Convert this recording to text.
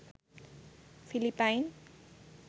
Philippine